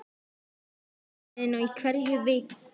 Hann fer á markaðinn í hverri viku.